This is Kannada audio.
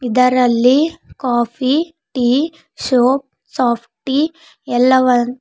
ಇದರಲ್ಲಿ ಕಾಫಿ ಟೀ ಸೋಪ್ ಸಾಫ್ಟಿ ಎಲ್ಲವ --